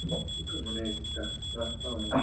অনেকটা রাস্তা অনেক,